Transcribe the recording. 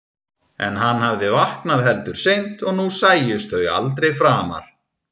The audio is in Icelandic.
En hann hafði vaknað heldur seint og nú sæjust þau aldrei framar.